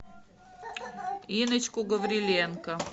инночку гавриленко